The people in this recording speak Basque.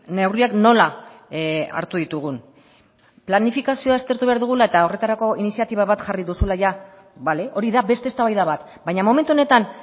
neurriak nola hartu ditugun planifikazioa aztertu behar dugula eta horretarako iniziatiba bat jarri duzula bale hori da beste eztabaida bat baina momentu honetan